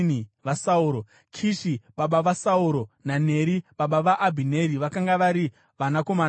Kishi baba vaSauro naNeri baba vaAbhineri vakanga vari vanakomana vaAbhieri.